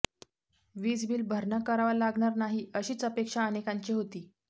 वीजबिल भरणा करावा लागणार नाही अशीच अपेक्षा अनेकांची होती